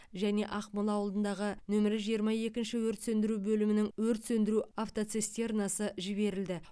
және ақмол ауылындағы нөмірі жиырма екінші өрт сөндіру бөлімінің өрт сөндіру автоцистернасы жіберілді